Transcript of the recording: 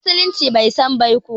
Musulunci bai san baiko ba